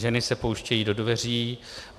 Ženy se pouštějí do dveří.